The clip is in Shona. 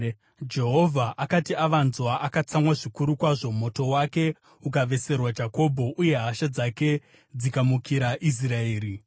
Jehovha akati avanzwa, akatsamwa zvikuru kwazvo; moto wake ukaveserwa Jakobho, uye hasha dzake dzikamukira Israeri,